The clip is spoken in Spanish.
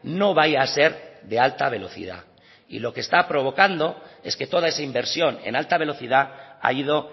no vaya a ser de alta velocidad y lo que está provocando es que toda esa inversión en alta velocidad ha ido